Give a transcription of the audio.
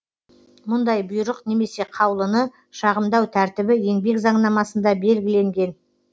мұндай бұйрық немесе қаулыны шағымдау тәртібі еңбек заңнамасында белгіленген